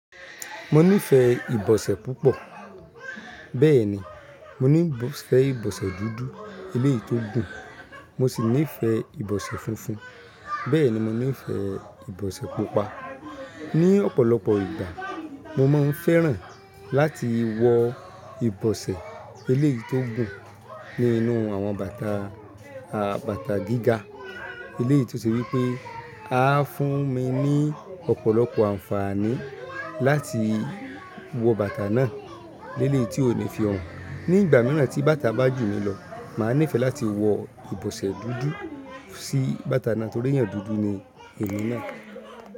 Mo nífẹ̀ẹ́ ìbọ̀sẹ̀ púpọ̀, bẹ́ẹ̀ni, mo nífẹ̀ẹ́ ìbọ̀sẹ̀ dúdú eléyìí tó gùn, mo sì nífẹ̀ẹ́ ìbọ̀sẹ̀ funfun, bẹ́ẹ̀ni mo nífẹ̀ẹ́ ìbọ̀sẹ̀ pupa. Ní ọ̀pọ̀lọpọ̀ ìgbà mo máa ń fẹ́ràn láti wọ ìbọ̀sẹ̀ eléyìí tó gùn ní inú àwọn bàtà gíga eléyìí tó ṣe wípẹ́ a fún mi ní ọ̀pọ̀lọpọ̀ àǹfààní láti wọ bàtà náà lélèyi tí ó ní fi hàn. Ní ìgbà míràn tí bàtà bá jù mí lọ, màá nífẹ̀ẹ́ láti wọ ìbọ̀sẹ̀ dúdú sí bàtà náà torí èèyàn dúdú ni èmí náà.